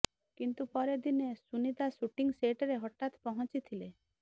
କିନ୍ତୁ ପରେ ଦିନେ ସୁନିତା ଶୁଟିଂ ସେଟରେ ହଠାତ ପହଞ୍ଚିଥିଲେ